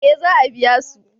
eh za a biya su